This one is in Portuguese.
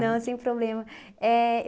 Não, sem problema. Éh